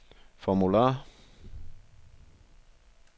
formular